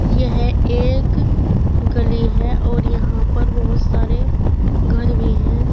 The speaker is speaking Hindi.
यह एक गली है और यहां पर बहुत सारे घर भी हैं।